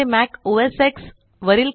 मी याचे Mac OS x